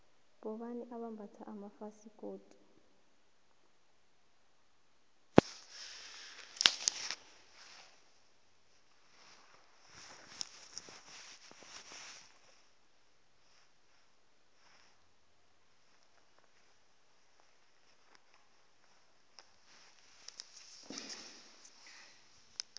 bobani abambatha amafasikodu